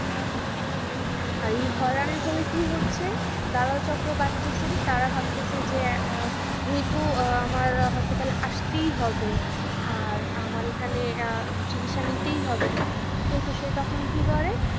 আর এই হয়রানির ফলে কি হচ্ছে দালাল চক্র বাড়িতেছে তারা ভাবতেছে যে আহ যেহেতু আমার hospital আসতেই হবে আর আমার এখানে আহ চিকিৎসা নিতেই হবে, সেহেতু সে তখন কি করে